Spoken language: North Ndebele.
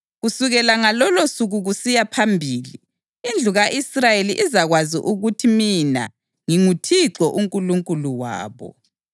Kusukela ngalolosuku kusiya phambili indlu ka-Israyeli izakwazi ukuthi mina nginguThixo uNkulunkulu wabo.